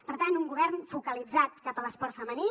per tant un govern focalitzat cap a l’esport femení